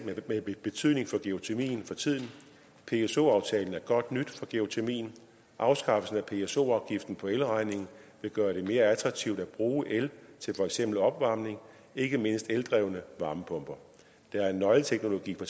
med betydning for geotermien for tiden pso aftalen er godt nyt for geotermien afskaffelsen af pso afgiften på elregningen vil gøre det mere attraktivt at bruge el til for eksempel opvarmning og ikke mindst eldrevne varmepumper der er en nøgleteknologi for